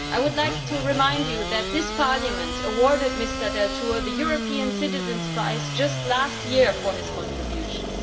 I would like to remind you that this Parliament awarded Mr Deltour the European Citizens' Prize just last year for his contributions.